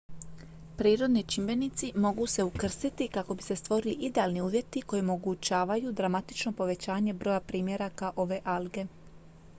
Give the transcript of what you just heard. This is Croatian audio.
prirodni čimbenici mogu se ukrstiti kako bi se stvorili idealni uvjeti koji omogućavaju dramatično povećanje broja primjeraka ove alge